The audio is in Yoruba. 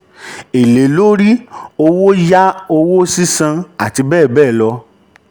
èlélórí: owó yá owó sisan abbl.